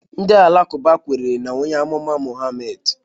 Ndị Alakụba kwere na onye amụma Muhammad